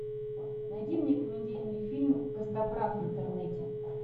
найди мне комедийный фильм костоправ в интернете